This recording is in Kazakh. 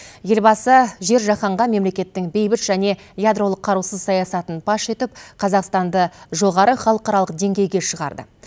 елбасы жер жаһанға мемлекеттің бейбіт және ядролық қарусыз саясатын паш етіп қазақстанды жоғары халықаралық деңгейге шығарды